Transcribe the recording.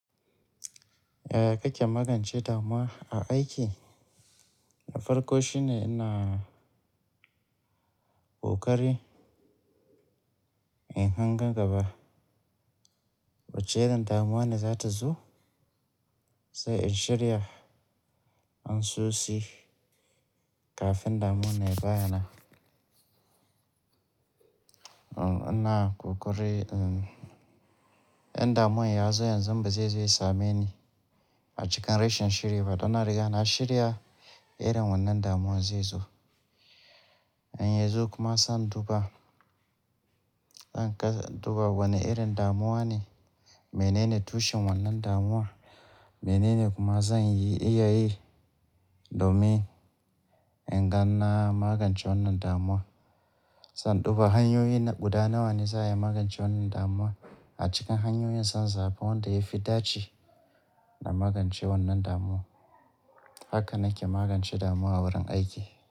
Yaya kake magance damuwa a aiki? Na farko shine ina ƙoƙari in hanga gaba wacce irin damuwa ne za ta zo, sai in shirya anso shi kafin damuwar ya bayyana. Ina ƙoƙari in damuwar ya zo yanzan ba zai same ni a cikin rashin shirye ba. Danna riga na shirya irin wannan damuwar zai zo. In ya zo kuma zan duba, zan duba wane irin damuwa ne, menene tushen wannan damuwa, menene kuma zan iya yi domin in gan na magance wannan damuwa. Zan duba hanyoyi guda nawa ne za a yi magance wannan damuwa a cikin hanyoyin son zaban wanda ya fi dace da magance wannan damuwa. Haka nake magance damuwa a wurin aiki.